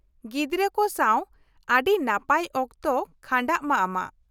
ᱜᱤᱫᱽᱨᱟᱹ ᱠᱚ ᱥᱟᱶ ᱟᱹᱰᱤ ᱱᱟᱯᱟᱭ ᱚᱠᱛᱚ ᱠᱷᱟᱸᱰᱟᱸᱜ ᱢᱟ ᱟᱢᱟᱜ ᱾